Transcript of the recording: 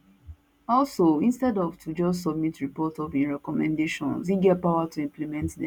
also instead of to just submit report of im recommendation e get power to implement dem